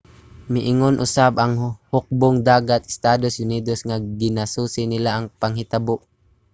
miingon usab ang hukbong-dagat sa estados unidos nga ginasusi nila ang panghitabo